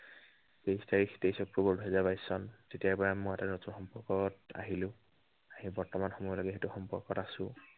তেইশ তাৰিশ, তেইশ অক্টোৱৰ দুহেজাৰ বাইশ চন, তেতিয়াৰ পৰাই মই এটা নতুন সম্পৰ্কত আহিলো। আহি বৰ্তমান সময়লৈকে সেইটো সম্পৰ্কত আছো।